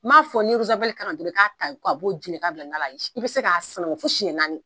N m'a fɔ ni kankan dɔrɔn ka b'o ji la ka bila i bi se k k'a sanango fo siɲɛ naani.